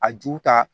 A ju ta